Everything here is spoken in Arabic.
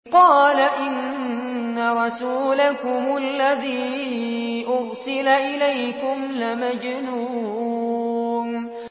قَالَ إِنَّ رَسُولَكُمُ الَّذِي أُرْسِلَ إِلَيْكُمْ لَمَجْنُونٌ